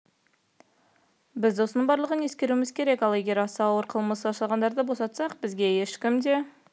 біз осының барлығын ескеруіміз керек ал егер аса ауыр қылмыс жасағандарды босатсақ бізге ешкім де